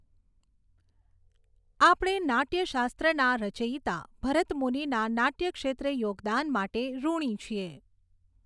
આપણે નાટ્યશાસ્ત્રના રચયિતા ભરતમુનિના નાટ્યક્ષેત્રે યોગદાન માટે ઋણી છીએ.